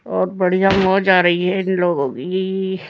बहुत बढ़िया मौज आ रही है इन लोगों की --